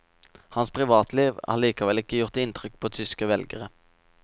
Hans privatliv har likevel ikke gjort inntrykk på tyske velgere.